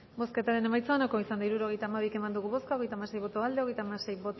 bozketaren emaitza onako izan da hirurogeita hamabi eman dugu bozka hogeita hamasei boto aldekoa treinta y seis